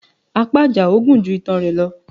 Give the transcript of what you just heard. Apá Àjàó gun ju itan rẹ lọ